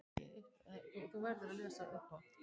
Læknar án landamæra, hún var ein af þeim.